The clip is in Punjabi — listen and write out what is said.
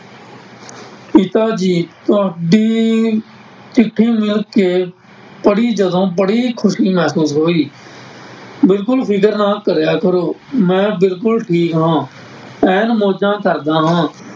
ਪਿਤਾ ਜੀ ਤੁਹਾਡੀ ਚਿੱਠੀ ਮੁੜਕੇ ਪੜ੍ਹੀ ਜਦੋਂ ਬੜੀ ਖ਼ੁਸ਼ੀ ਮਹਿਸੂਸ ਹੋਈ, ਬਿਲਕੁਲ ਫ਼ਿਕਰ ਨਾ ਕਰਿਆ ਕਰੋ, ਮੈਂ ਬਿਲਕੁਲ ਠੀਕ ਹਾਂ ਐਨ ਮੋਜ਼ਾਂ ਕਰਦਾ ਹਾਂ।